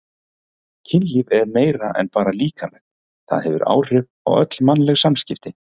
Kynlíf er meira en bara líkamlegt, það hefur áhrif á öll mannleg samskipti.